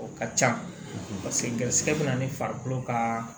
O ka can paseke garisigɛ bɛ na ni farikolo ka